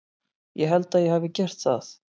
Ég held að ég hafi gert það.